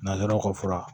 Nanzaraw ka fura